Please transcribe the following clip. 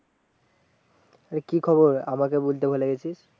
এই কি খবর আমাকে বলতে ভুলে গেছিস